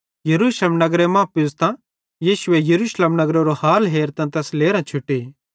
यरूशलेम नगरे मां पुज़तां यीशु यरूशलेम नगरेरो हाल हेरतां तैस लेरां छुटी